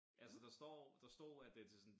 Altså der står der stod at det til sådan